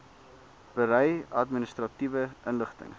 berei administratiewe inligting